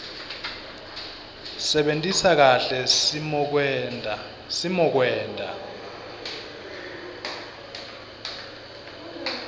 sebentisa kahle simokwenta